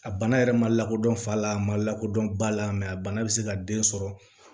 A bana yɛrɛ ma lakodɔn fa la a ma lakodɔn ba la mɛ a bana bɛ se ka den sɔrɔ